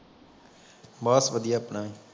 ਬਸ ਵਧੀਆ ਆਪਣਾ ਵੀ